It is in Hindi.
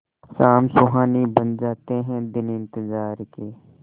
शाम सुहानी बन जाते हैं दिन इंतजार के